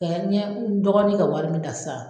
ɲɛ n dɔgɔnin ka wari min ta sisan